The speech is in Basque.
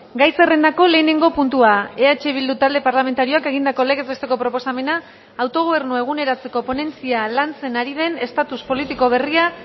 gai zerrendako lehenengo puntua eh bildu talde parlamentarioak egindako legez besteko proposamena autogobernua eguneratzeko ponentzia lantzen ari den estatus politiko berria